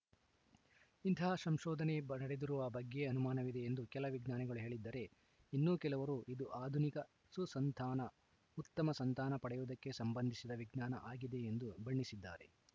ಇಂತಹ ಸಂಶೋಧನೆ ಬಡೆದಿರುವ ಬಗ್ಗೆಯೇ ಅನುಮಾನವಿದೆ ಎಂದು ಕೆಲ ವಿಜ್ಞಾನಿಗಳು ಹೇಳಿದ್ದರೆ ಇನ್ನೂ ಕೆಲವರು ಇದು ಆಧುನಿಕ ಸುಸಂತಾನ ಉತ್ತಮ ಸಂತಾನ ಪಡೆಯುವುದಕ್ಕೆ ಸಂಬಂಧಿಸಿದ ವಿಜ್ಞಾನ ಆಗಿದೆ ಎಂದು ಬಣ್ಣಿಸಿದ್ದಾರೆ